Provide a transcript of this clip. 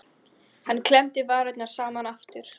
Hann klemmdi varirnar saman aftur.